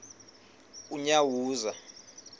unyawuza